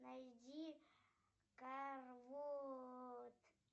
найди карвот